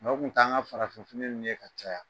Aw kun t'an ka farafinfiniw ye ka caya